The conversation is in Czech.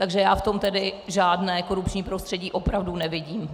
Takže já v tom tedy žádné korupční prostředí opravdu nevidím.